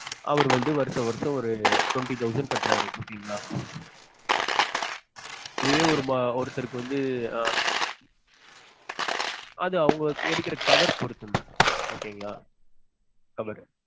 அவர் வந்து வருஷ வருஷம் ஒரு twenty thousand கட்டுறாரு ஓகே okay ங்களா. இதுவே ஒருத்தருக்கு வந்து ஆஹ் அது அவங்க எடுக்குற cover அ பொருத்து mam okay ங்களா cover ரு